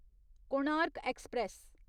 Konark express